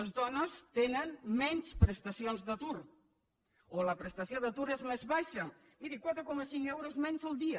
les dones tenen menys prestacions d’atur o la prestació d’atur és més baixa miri quatre coma cinc euros menys al dia